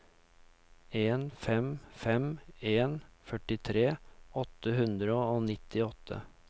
en fem fem en førtitre åtte hundre og nittiåtte